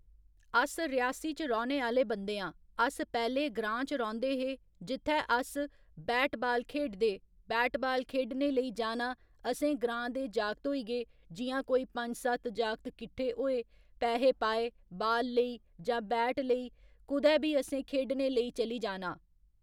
अस रियासी च रौह्‌ने आह्‌ले बंदे आं अस पैह्‌ले ग्रांऽ च रौंह्दे हे जित्थै अस बैट बाल खेढदे बैट बाल खेढने लेई जाना असें ग्रांऽ दे जागत होई गे जि'यां कोई पं'ञ सत्त जागत किट्ठे होए पैहे पाए बाल लेई जां बैट लेई कुदै बी असें खेढने लेई चली जाना